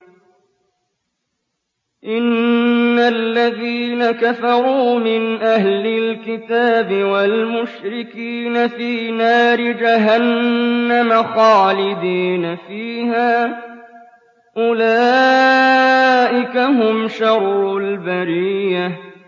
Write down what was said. إِنَّ الَّذِينَ كَفَرُوا مِنْ أَهْلِ الْكِتَابِ وَالْمُشْرِكِينَ فِي نَارِ جَهَنَّمَ خَالِدِينَ فِيهَا ۚ أُولَٰئِكَ هُمْ شَرُّ الْبَرِيَّةِ